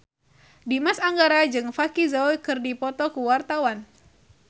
Dimas Anggara jeung Vicki Zao keur dipoto ku wartawan